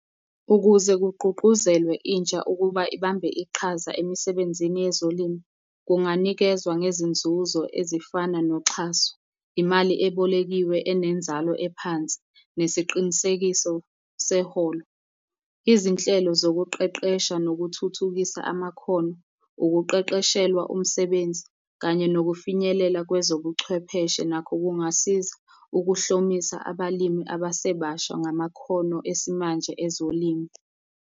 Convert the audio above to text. Ukuze kugqugquzelwe intsha ukuba ibambe iqhaza emisebenzini yezolimo, kunganikezwa ngezinzuzo ezifana noxhaso, imali ebolekiwe enenzalo ephansi, nesiqinisekiso seholo. Izinhlelo zokuqeqesha nokuthuthukisa amakhono, ukuqeqeshelwa umsebenzi, kanye nokufinyelela kwezobuchwepheshe nakho kungasiza ukuhlomisa abalimi abasebasha ngamakhono esimanje ezolimo.